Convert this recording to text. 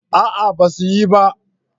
A'a ba su yi ba